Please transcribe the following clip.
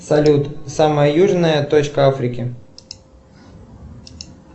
салют самая южная точка африки